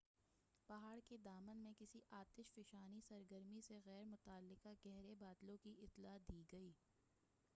پہاڑ کے دامن میں کسی آتش فشانی سرگرمی سے غیر متعلقہ گہرے بادلوں کی اطلاع دی گئی